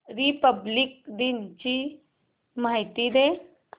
Republic दिन ची माहिती दे